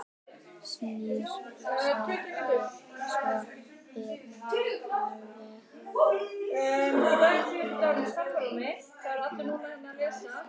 Snýr sér svo við alvarleg í bragði.